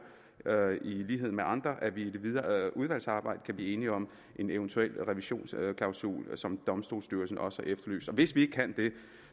i lighed med andre at vi i det videre udvalgsarbejde kan blive enige om en eventuel revisionsklausul som domstolsstyrelsen også efterlyser hvis vi ikke kan det